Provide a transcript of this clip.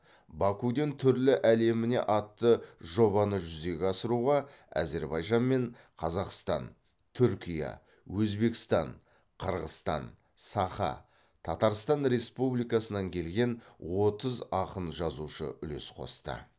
бакуден түрлі әлеміне атты жобаны жүзеге асыруға әзербайжан мен қазақстан түркия өзбекстан қырғызстан саха татарстан республикасынан келген отыз ақын жазушы үлес қосты